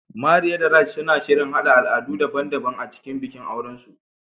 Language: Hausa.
Maria da Raj suna shirin haɗa al'adu daban-daban a cikin bikin auren